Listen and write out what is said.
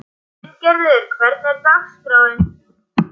Bryngerður, hvernig er dagskráin?